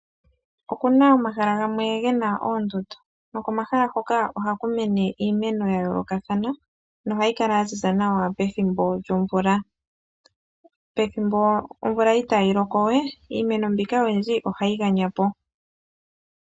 Okuna omahala gamwe gena oondundu nokomahala hoka ihaku mene iimeno ya yoolokathana no hayi kala yaziza nawa pethimbo lyomvula. Pethimbo omvula itayi loko nawa iimeno ohayi ganyapo.